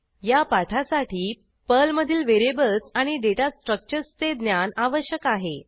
या पाठासाठी पर्लमधील व्हेरिएबल्स आणि डेटा स्ट्रक्चर्सचे ज्ञान आवश्यक आहे